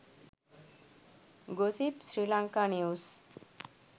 gossip sri lanka news